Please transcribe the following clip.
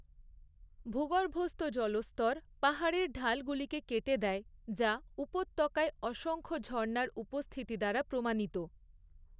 ভূগর্ভস্থ জলস্তর পাহাড়ের ঢালগুলিকে কেটে দেয়, যা উপত্যকায় অসংখ্য ঝর্ণার উপস্থিতি দ্বারা প্রমাণিত।